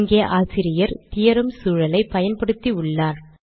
இங்கே ஆசிரியர் தியோரெம் சூழலை பயன்படுத்தி உள்ளார்